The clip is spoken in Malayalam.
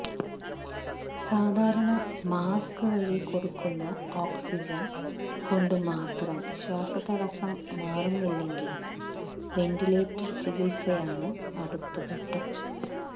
സാധാരണ മാസ്ക് വഴി കൊടുക്കുന്ന ഓക്സിജൻ കൊണ്ടു മാത്രം ശ്വാസതടസ്സം മാറുന്നില്ലെങ്കിൽ വെന്റിലേറ്റർ ചികിത്സയാണ് അടുത്ത ഘട്ടം